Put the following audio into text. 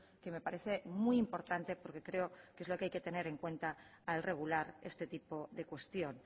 que me parece muy importante porque creo que es lo que hay que tener en cuenta al regular este tipo de cuestión